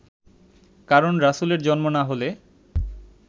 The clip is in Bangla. কারণ রাসূলের জন্ম না হলে